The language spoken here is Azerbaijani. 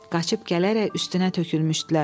Qaçıb gələrək üstünə tökülmüşdülər.